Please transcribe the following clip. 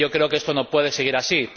Y yo creo que esto no puede seguir así.